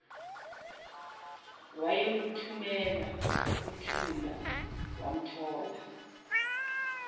wayeluthumela kuthula wamthola